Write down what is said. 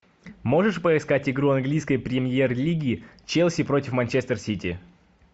можешь поискать игру английской премьер лиги челси против манчестер сити